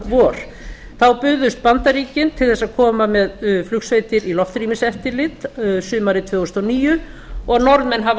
vor þá buðust bandaríkin til þess að koma með flugsveitir í loftrýmiseftirlit sumarið tvö þúsund og níu og norðmenn hafa